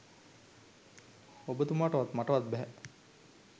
ඔබතුමාටවත් මටවත් බැහැ